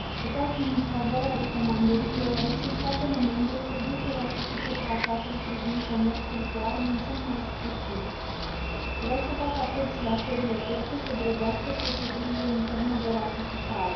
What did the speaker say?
Doamnă președinte, am votat în favoarea recomandării, deoarece statele membre trebuie să ratifice Tratatul privind comerțul cu arme în cel mai scurt timp. Vreau să fac apel și la țările terțe să grăbească procedurile interne de ratificare.